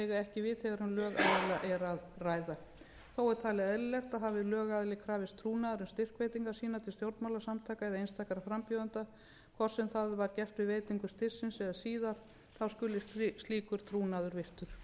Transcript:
ekki við þegar um lögaðila er að ræða þó er talið eðlilegt að hafi lögaðila krafist trúnaðar um styrkveitingar sínar til stjórnmálasamtaka eða einstakra frambjóðenda hvort sem það var gert með veitingu styrksins eða síðar skal slíkur trúnaður virtur